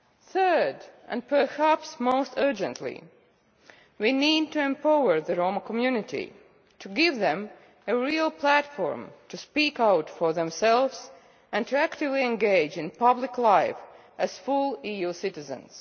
Third, and perhaps most urgently, we need to empower the Roma community, to give them a real platform to speak out for themselves, and to actively engage in public life as full EU citizens.